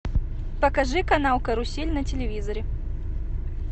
покажи канал карусель на телевизоре